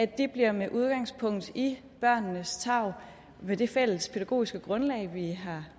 det bliver med udgangspunkt i børnenes tarv med det fælles pædagogiske grundlag vi har